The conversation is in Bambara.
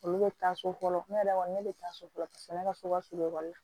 Olu bɛ taa so fɔlɔ ne yɛrɛ kɔni ne bɛ taa so fɔlɔ ne ka so ka surun ekɔli la